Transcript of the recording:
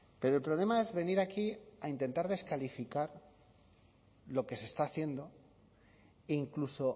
pero el problema es venir aquí a intentar descalificar lo que se está haciendo e incluso